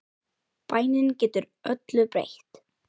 Bænin getur öllu breytt.